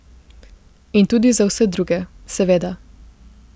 In tudi za vse druge, seveda.